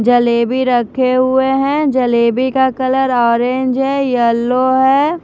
जलेबी रखे हुए हैं जलेबी का कलर ऑरेंज है येलो है।